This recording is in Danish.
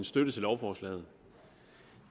støtte til lovforslaget